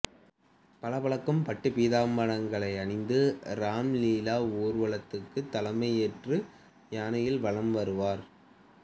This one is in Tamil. பளபளக்கும் பட்டுப் பீதாம்பரங்களை அணிந்து ராம் லீலா ஊர்வலத்துக்குத் தலைமையேற்று யானையில் வலம் வருவார்